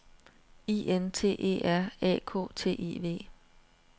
I N T E R A K T I V